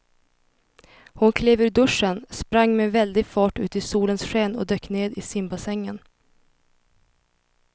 Hon klev ur duschen, sprang med väldig fart ut i solens sken och dök ner i simbassängen.